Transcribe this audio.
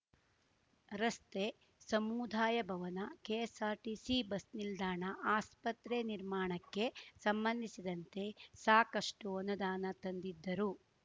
ರಸ್ತೆ ಸಮುದಾಯಭವನ KSRTC bus ನಿಲ್ದಾಣ ಆಸ್ಪತ್ರೆ ನಿರ್ಮಾಣಕ್ಕೆ ಸಂಬಂಧಿಸಿದಂತೆ ಸಾಕಷ್ಟುಅನುದಾನ ತಂದಿದ್ದರು